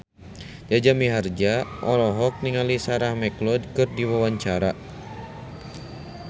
Jaja Mihardja olohok ningali Sarah McLeod keur diwawancara